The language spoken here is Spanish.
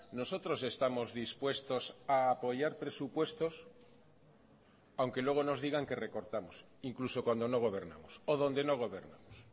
nosotros estamos dispuestos a apoyar presupuestos aunque luego nos digan que recortamos incluso cuando no gobernamos o donde no gobernamos